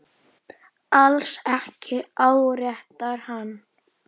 Alls ekki áréttar hann.